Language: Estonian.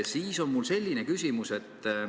Mul on selline küsimus.